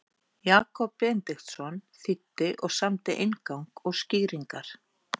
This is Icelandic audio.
Jakob Benediktsson þýddi og samdi inngang og skýringar.